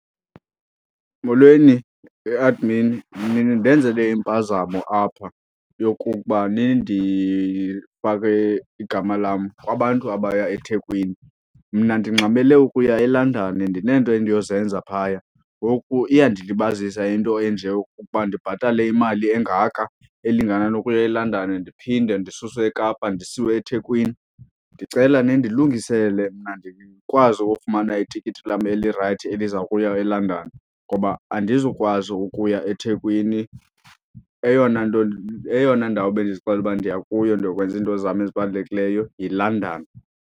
Molweni e-admin, nindenzele impazamo apha yokuba nindifake igama lam kubantu abaya eThekwini. Mna ndingxamele ukuya eLondon, ndineento endiyozenza phaya ngoku iyandilibazisa into enje yokuba ndibhatale imali engaka elingana nokuya eLondon ndiphinde ndisuswe eKapa ndisiwe eThekwini. Ndicela nindilungisele mna ndikwazi ukufumana itikiti lam elirayithi eliza kuya eLondon ngoba andizukwazi ukuya eThekwini. Eyona nto eyona ndawo ebendizixelele uba ndiya kuyo ndiyokwenza into zam ezibalulekileyo yiLondon.